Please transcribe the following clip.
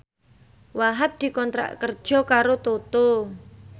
Wahhab dikontrak kerja karo Toto